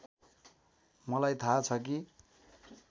मलाई थाहा छ कि